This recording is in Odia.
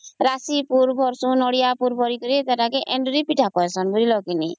ସେଟରେ ରାଶି ପୁର ନଡ଼ିଆ ପୁର ଦେଇକରି ଏଣ୍ଡୁରି ପିଠା କରିସନ ବୁଝିଲା କି ନାଇଁ